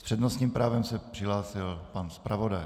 S přednostním právem se přihlásil pan zpravodaj.